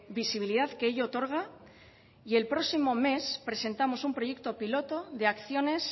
visibilidad que ello otorga y el próximo mes presentamos un proyecto piloto de acciones